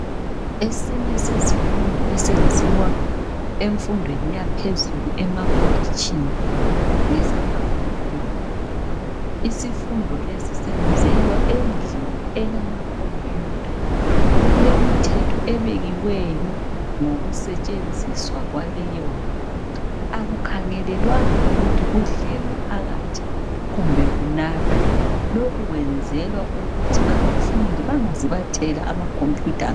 esinye sezifundo esenziwa emfundweni yaphezulu emakolitshini ngesama computer isisfundo lesi senzelwa endlini elama computer kulemithetho ebekiweyo ngokusetshenziswa kwaleyo ndlu akukhangelelwanga ukuthi kudlelwe phakathi kumbe kunathwe lokhu kwenzelwa ukuthi abafundi bengaze bathela ama computer